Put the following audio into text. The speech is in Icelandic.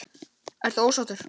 Ertu ósáttur?